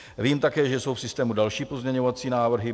Vím také, že jsou v systému další pozměňovací návrhy.